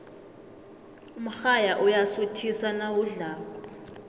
umrayha uyasuthisa nawudlako